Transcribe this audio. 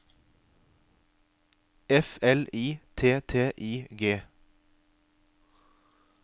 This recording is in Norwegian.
F L I T T I G